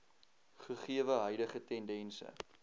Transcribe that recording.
gegewe huidige tendense